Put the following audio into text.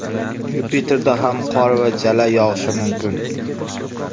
Yupiterda ham qor va jala yog‘ishi mumkin.